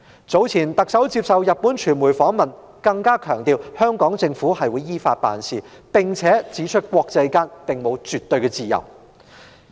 早前特首接受日本傳媒訪問時，更強調香港政府會依法辦事，並且指出國際間沒有絕對的自由。